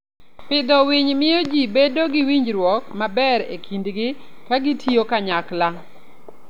Pidho winy miyo ji bedo gi winjruok maber e kindgi ka gitiyo kanyachiel.